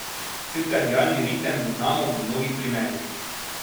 Cirkadialni ritem zaznamo v mnogih primerih.